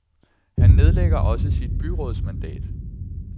Han nedlægger også sit byrådsmandat.